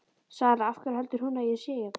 Sara: Af hverju heldur hún að ég sé hérna?